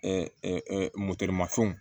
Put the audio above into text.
mafɛnw